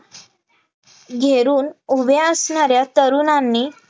घेरुन उभे असणार्या तरुणांनी